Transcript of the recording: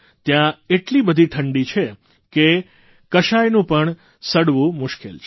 ત્યાં એટલી બધી ઠંડી છે કે કશાયનું પણ સડવું મુશ્કેલ છે